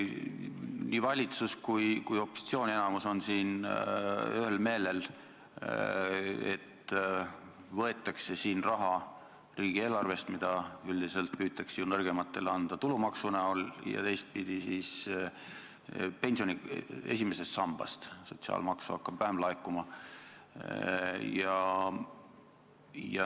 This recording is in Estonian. Nii valitsus kui ka opositsiooni enamus on siin ühel meelel, et võetakse raha riigieelarvest ja teistpidi pensioni esimesest sambast, sotsiaalmaksu hakkab vähem laekuma.